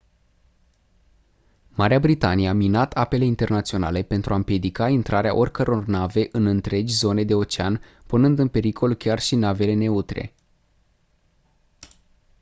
marea britanie a minat apele internaționale pentru a împiedica intrarea oricăror nave în întregi zone de ocean punând în pericol chiar și navele neutre